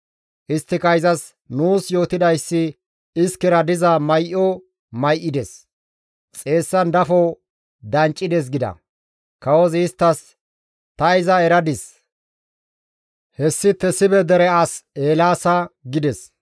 Isttika izas, «Nuus yootidayssi iskera diza may7o may7ides ; xeessan dafo danccides» gida. Kawozi isttas, «Ta iza eradis; hessi Tesibe dere as Eelaasa» gides.